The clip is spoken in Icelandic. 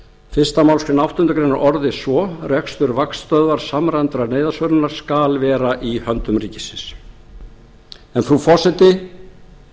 fyrsta málsgrein áttundu grein orðist svo rekstur vaktstöðvar samræmdrar neyðarsvörunar skal vera í höndum ríkisins en frú forseti mælirinn